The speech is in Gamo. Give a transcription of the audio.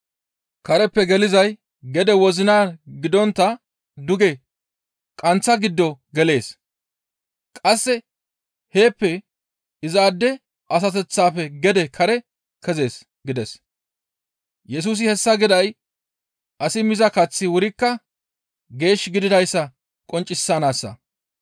Kareppe gelizay gede wozinan gidontta duge qanththa giddo gelees; qasse heeppe izaade asateththaafe gede kare kezees» gides; Yesusi hessa giday asi miza kaththi wurikka geesh gididayssa qonccisanaassa.